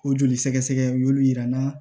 O joli sɛgɛsɛgɛ y'olu yira n'a